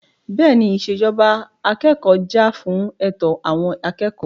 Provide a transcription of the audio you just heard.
Bẹ́ẹ̀ni, ìṣèjọba akẹ́kọ̀ọ́ jà fún ẹ̀tọ́ àwọn akẹ́kọ̀ọ́.